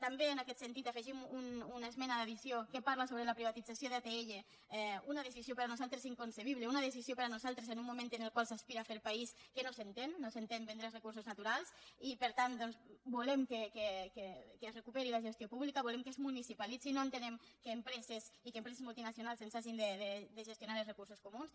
també en aquest sentit afegim una esmena d’addició que parla sobre la privatització d’atll una decisió per nosaltres inconcebible una decisió per nosaltres en un moment en el qual s’aspira a fer país que no s’entén no s’entén vendre els recursos naturals i per tant doncs volem que es recuperi la gestió pública volem que es municipalitzi no entenem que empreses i que empreses multinacionals ens hagin de gestionar els recursos comuns